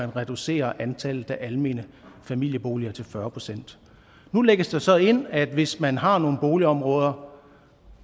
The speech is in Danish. reducere antallet af almene familieboliger til fyrre procent nu lægges der så ind at der hvis man har nogle boligområder